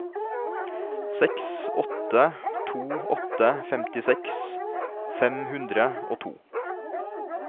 seks åtte to åtte femtiseks fem hundre og to